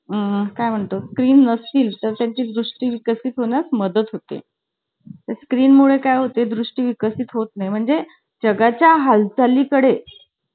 आणि ते कागदाचे जहाज, विमान उडवायचे कागदाचे?